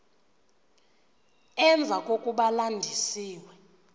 emva kokuba landisiwe